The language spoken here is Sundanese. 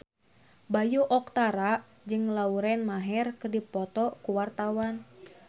Bayu Octara jeung Lauren Maher keur dipoto ku wartawan